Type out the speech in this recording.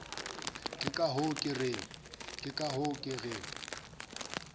ke ka hoo ke reng